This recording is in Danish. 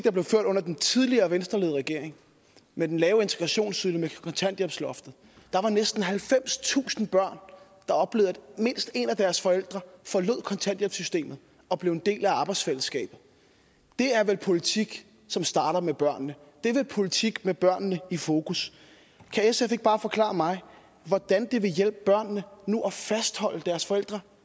der blev ført under den tidligere venstreledede regering med den lave integrationsydelse kontanthjælpsloftet var der næsten halvfemstusind børn der oplevede at mindst en af deres forældre forlod kontanthjælpssystemet og blev en del af arbejdsfællesskabet det er vel politik som starter med børnene det er vel politik med børnene i fokus kan sf ikke bare forklare mig hvordan det vil hjælpe børnene at fastholde deres forældre